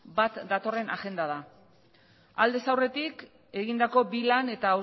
bat datorren agenda da aldez aurretik egindako bi lan eta